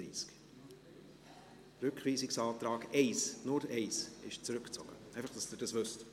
Der Rückweisungsantrag 1, nur der Rückweisungsantrag 1, ist zurückgezogen – einfach, damit Sie dies wissen.